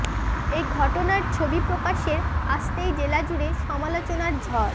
এই ঘটনার ছবি প্রকাশ্য়ে আসতেই জেলা জুড়ে সমালোচনার ঝড়